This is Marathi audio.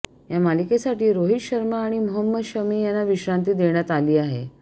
या मालिकेसाठी रोहित शर्मा आणि मोहम्मद शमी यांना विश्रांती देण्यात आली आहे